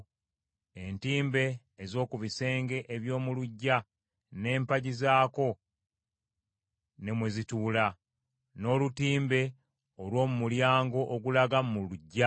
entimbe ez’oku bisenge eby’omu luggya n’empagi zaazo ne mwe zituula; n’olutimbe olw’omu mulyango ogulaga mu luggya;